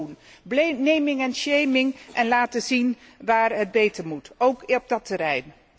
verslag doen, naming and shaming en laten zien waar het beter moet, ook op dat terrein.